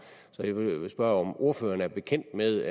så jeg vil spørge om ordføreren er bekendt med